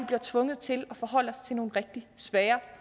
bliver tvunget til at forholde os til nogle rigtig svære